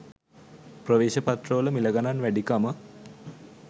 ප්‍රවේශපත්‍ර වල මිළගණන් වැඩිකම